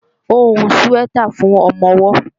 Ó ń hun síwẹ́tà fún ọmọ-ọwọ́